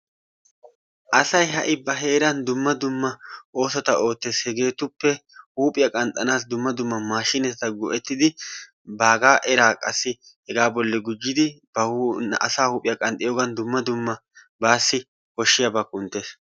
Asay ha'i ba heeran dumma dumma oosota oottees. Hegeetuppe huuphphiyaa dumma duuma maashshineta go"ettidi baagaa eraa qassi hegaa bolli guujjidi ba huuphphiyaa asaa huuphphiyaa qanxxiyoogan dumma dumma baasi koshshiyaaba kunttees.